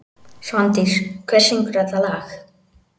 Svandís, hver syngur þetta lag?